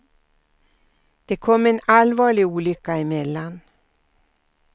Det kom en allvarlig olycka emellan.